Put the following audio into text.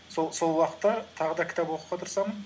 сол уақытта тағы да кітап оқуға тырысамын